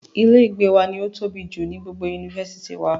Ilé ìgbé wa ni ó tóbi jù nínú gbogbo yunifásítì wa.